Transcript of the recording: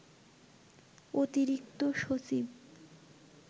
অতিরিক্ত সচিব